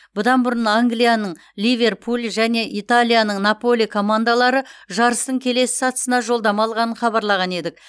бұдан бұрын англияның ливерпуль және италияның наполи командалары жарыстың келесі сатысына жолдама алғанын хабарлаған едік